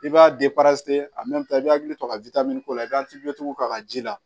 I b'a a i bɛ hakili to a ka ko la i bɛ k'a ka ji la